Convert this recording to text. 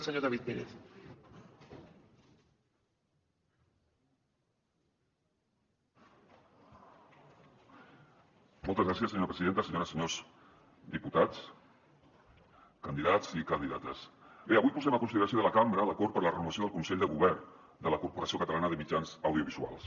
senyores i senyors diputats candidats i candidates bé avui posem a consideració de la cambra l’acord per a la renovació del consell de govern de la corporació catalana de mitjans audiovisuals